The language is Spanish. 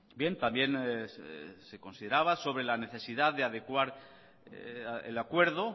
bien también se consideraba sobre la necesidad de adecuar el acuerdo